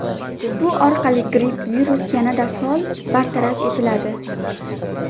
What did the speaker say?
Bu orqali gripp virusi yanada faol bartaraf etiladi.